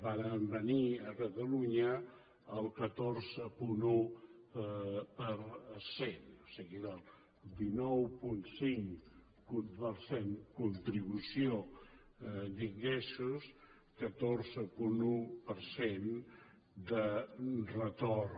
varen venir a catalunya el catorze coma un per cent o sigui de dinou coma cinc per cent de contribució d’ingressos catorze coma un per cent de retorn